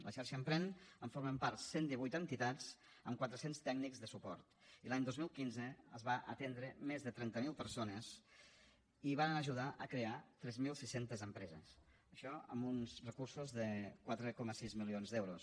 de la xarxa emprèn en formen part cent divuit entitats amb quatre cents tècnics de suport i l’any dos mil quinze es van atendre més de trenta mil persones i varen ajudar a crear tres mil sis cents empreses això amb uns recursos de quatre coma sis milions d’euros